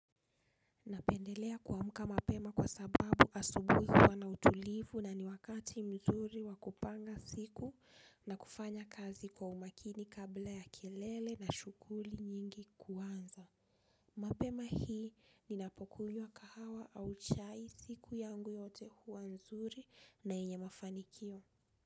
Napendelea kuamka mapema kwa sababu asubuhi huwa na utulivu na ni wakati mzuri wa kupanga siku na kufanya kazi kwa umakini kabla ya kelele na shughuli nyingi kuanza. Mapema hii ninapokunywa kahawa au chai, siku yangu yote huwa nzuri na yenye mafanikio.